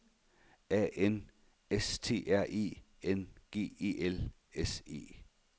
A N S T R E N G E L S E